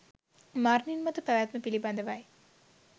මරණින් මතු පැවැත්ම පිළිබඳවයි